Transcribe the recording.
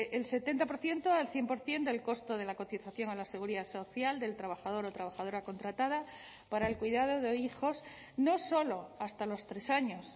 el setenta por ciento al cien por ciento del costo de la cotización a la seguridad social del trabajador o trabajadora contratada para el cuidado de hijos no solo hasta los tres años